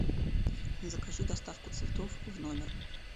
закажи доставку цветов в номер